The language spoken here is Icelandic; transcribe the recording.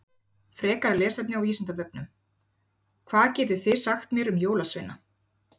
Frekara lesefni á Vísindavefnum: Hvað getið þið sagt mér um jólasveina?